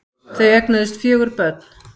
Þau eignuðust fjögur börn